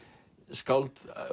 skáld